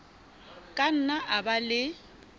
ka nna a ba le